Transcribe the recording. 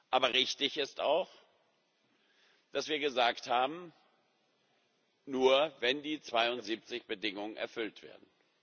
Aber richtig ist auch, dass wir gesagt haben Nur wenn die 72 Bedingungen erfüllt werden.